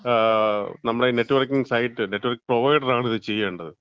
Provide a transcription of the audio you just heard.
നമ്മടെ ഈ networking site, network provider ആണ് ഇത് ചെയ്യേണ്ടത്.